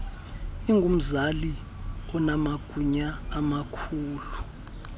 ingumzali onamagunya amakhulu